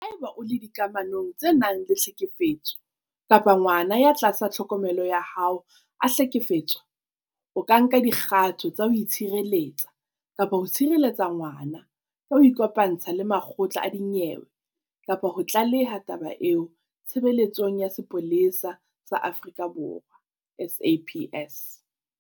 Haeba o le dikamanong tse nang le tlhekefetso kapa ngwana ya tlasa tlhokomelo ya hao a hlekefetswa, o ka nka dikgato tsa ho itshireletsa kapa ho tshireletsa ngwana ka ho ikopantsha le makgotla a dinyewe kapa ho tlaleha taba eo Tshebeletsong ya Sepolesa sa Aforika Borwa, SAPS.